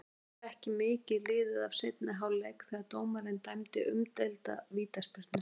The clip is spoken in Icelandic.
Það var ekki mikið liðið af seinni hálfleik þegar dómarinn dæmdi umdeilda vítaspyrnu.